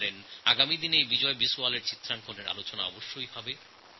আগামীদিনে বিজয় বিশওয়ালের ছবি নিয়ে নানান আলোচনা মত বিনিময় অবশ্যই হতে পারে